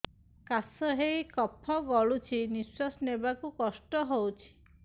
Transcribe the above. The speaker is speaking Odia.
କାଶ ହେଇ କଫ ଗଳୁଛି ନିଶ୍ୱାସ ନେବାକୁ କଷ୍ଟ ହଉଛି